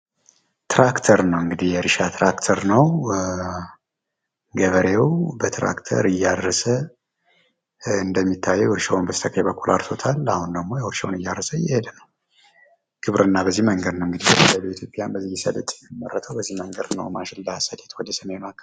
የእርሻ ትራክተር ነው። ገበሬው በትራክተር እያረሰ እንደሚታየው እርሻውን በስተቀኝ በኩል አርሶታል ፤ አሁን ደግሞ እርሻውን እያረሰ እየሄደ ነው። ግብርና በዚህ መንገድ ነው እንግዲህ በኢትዮጵያ ሰሊጥ የሚመረተው ማሽላ፣ ሰሊጥ ወደ ሰሜኑ ክፍል